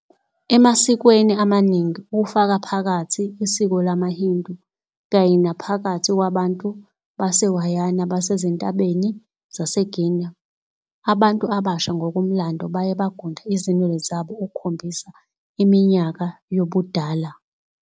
Emasikweni amaningi, kufaka phakathi isiko lamaHindu kanye naphakathi kwabantu baseWayana basezintabeni zaseGuiana, abantu abasha ngokomlando baye bagunda izinwele zabo ukukhombisa iminyaka yobudala.